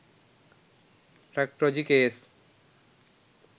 traktorji case